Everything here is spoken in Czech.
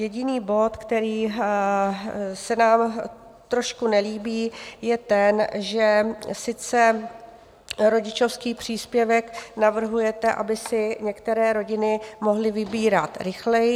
Jediný bod, který se nám trošku nelíbí, je ten, že sice rodičovský příspěvek navrhujete, aby si některé rodiny mohly vybírat rychleji.